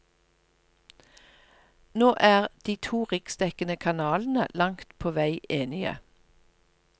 Nå er de to riksdekkende kanalene langt på vei enige.